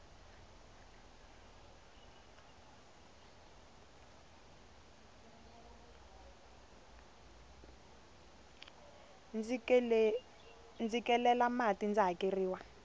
ndzi kelela mati ndzi hakeriwa